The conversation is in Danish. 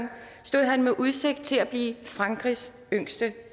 stod han med udsigt til at blive frankrigs yngste